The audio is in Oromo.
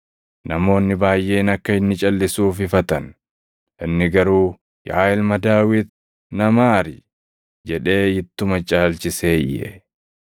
Namoonni baayʼeen akka inni calʼisuuf ifatan; inni garuu, “Yaa ilma Daawit na maari!” jedhee ittuma caalchisee iyye.